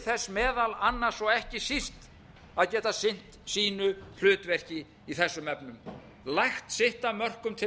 þess meðal annars og ekki síst að geta sinnt sínu hlutverki í þessum efnum lagt sitt af mörkum til